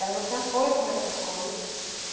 Ela não tinha força mais para as coisas.